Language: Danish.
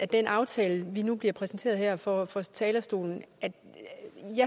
den aftale vi nu bliver præsenteret for her fra talerstolen